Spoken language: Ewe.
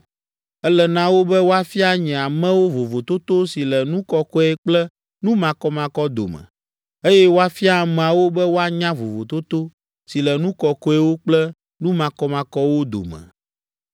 Ele na wo be woafia nye amewo vovototo si le nu kɔkɔe kple nu makɔmakɔ dome, eye woafia ameawo be woanya vovototo si le nu kɔkɔewo kple nu makɔmakɔwo dome.